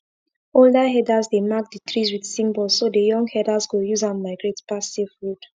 older herders dey mark the trees with symbols so the young herders go use am migrate pass safe road